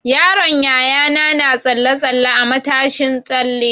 Yaron Yayana na tsalle-tsalle a matashin tsalle.